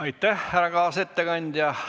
Aitäh, härra kaasettekandja!